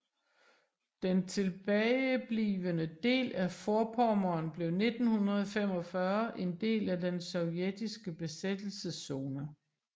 Den tilbage blivende del af Vorpommern blev 1945 en del af den sovjetiske besættelszone